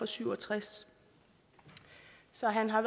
syv og tres så han har